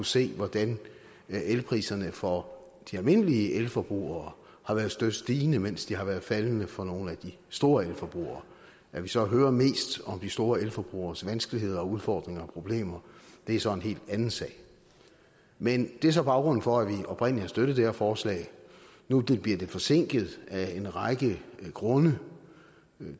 se hvordan elpriserne for de almindelige elforbrugere har været støt stigende mens de har været faldende for nogle af de store elforbrugere at vi så hører mest om de store elforbrugeres vanskeligheder og udfordringer og problemer er så en helt anden sag men det er så baggrunden for at vi oprindelig har støttet det her forslag nu blive det forsinket af en række grunde